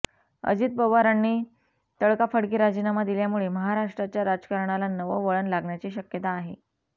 अजित पवारांनी तडकाफडकी राजीनामा दिल्यामुळे महाराष्ट्राच्या राजकारणाला नवं वळण लागण्याची शक्यता आहे